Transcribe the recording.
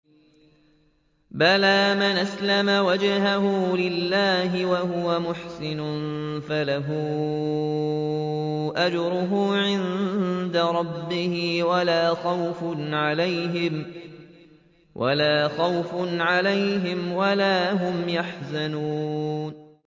بَلَىٰ مَنْ أَسْلَمَ وَجْهَهُ لِلَّهِ وَهُوَ مُحْسِنٌ فَلَهُ أَجْرُهُ عِندَ رَبِّهِ وَلَا خَوْفٌ عَلَيْهِمْ وَلَا هُمْ يَحْزَنُونَ